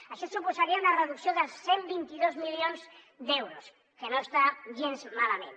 això suposaria una reducció de cent i vint dos milions d’euros que no està gens malament